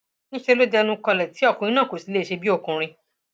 níṣẹ ló dẹnukọlẹ tí ọkùnrin náà kò sì lè ṣe bíi ọkùnrin